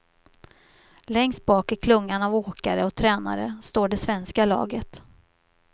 Längst bak i klungan av åkare och tränare står det svenska laget.